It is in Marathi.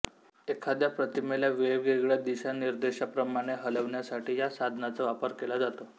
एखाद्या प्रतिमेला वेगवेगळ्या दिशानिर्देशाप्रमाणे हलवण्यासाठी ह्या साधनाचा वापर केला जातो